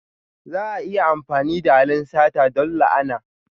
Za a iya amfani da halin sata don la'ana.